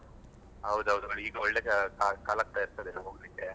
ಹೌದ್ ಹೌದು ಈಗ ಒಳ್ಳೆ ಕಲಾಗ್ತಾ ಇರ್ತದೆ ಹೋಗ್ಲಿಕ್ಕೆ.